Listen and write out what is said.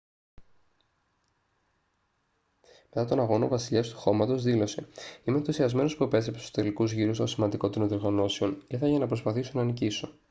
μετά τον αγώνα ο «βασιλιάς του χώματος» δήλωσε «είμαι ενθουσιασμένος που επέστρεψα στους τελικούς γύρους των σημαντικότερων διοργανώσεων. ήρθα για να προσπαθήσω να νικήσω»